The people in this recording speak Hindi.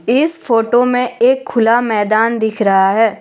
इस फोटो में एक खुला मैदान दिख रहा है।